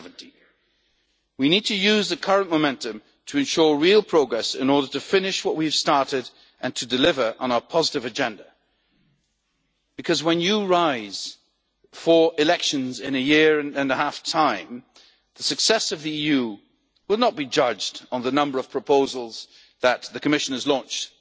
Declaration of 2017. We need to use the current momentum to ensure real progress in order to finish what we have started and to deliver on our positive agenda because, when you rise for elections in a year and a half's time, the success of the EU will not be judged on the number of proposals that the Commission